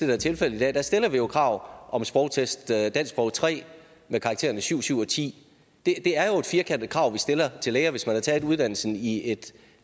er tilfældet i dag der stiller vi jo krav om en sprogtest dansk sprog tre med karaktererne syv syv og tiende det er jo et firkantet krav vi stiller til læger hvis man har taget uddannelsen i et